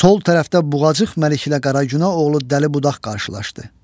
Sol tərəfdə buğacıq məliklə Qaragünə oğlu dəli budaq qarşılaşdı.